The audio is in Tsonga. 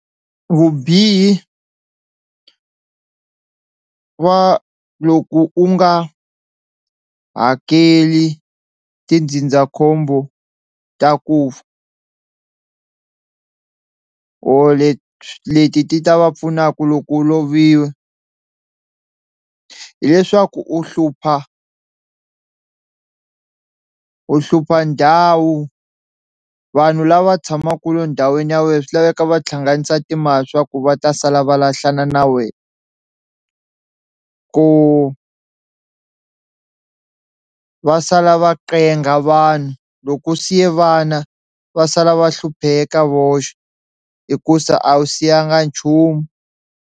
Vubihi va loko u nga hakeli tindzindzakhombo ta ku fa or leti ti ta va pfunaku loko u lovile hileswaku u hlupha u hlupha ndhawu vanhu lava tshamaka endhawini ya wehe swi laveka va hlanganisa timali swa ku va ta sala va lahlana na wena, ku va sala va ncenga vanhu loko u siye vana va sala va hlupheka voxe hikusa a wu siyanga nchumu.